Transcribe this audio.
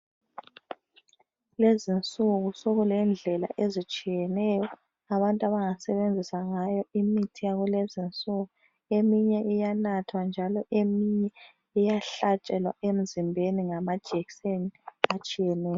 Lezinsuku sekulendlela ezitshiyeneyo abantu abangasebenzisa ngayo imithi yakulezinsuku eminye iyanathwa njalo eminye iyahlatshelwa emzimbeni ngamajekiseni atshiyeneyo.